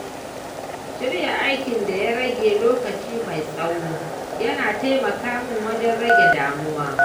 Shirya aikin da ya rage lokaci mai tsawo ya na taimaka min wajen rage damuwa.